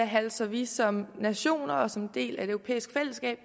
halser vi som nation og som en del af et europæisk fællesskab